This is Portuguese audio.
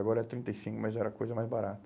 Agora é trinta e cinco, mas era coisa mais barata.